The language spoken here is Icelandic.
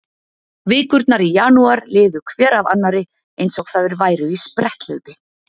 Vikurnar í janúar liðu hver af annarri eins og þær væru í spretthlaupi.